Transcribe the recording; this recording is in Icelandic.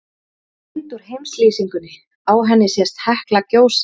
Hér er mynd úr heimslýsingunni, á henni sést Hekla gjósa.